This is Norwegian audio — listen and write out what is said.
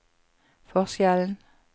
forskjellen